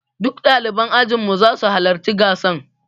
Duk ɗaliban ajin mu za su halarci gasar.